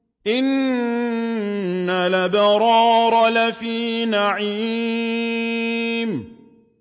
إِنَّ الْأَبْرَارَ لَفِي نَعِيمٍ